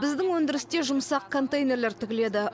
біздің өндірісте жұмсақ контейнерлер тігіледі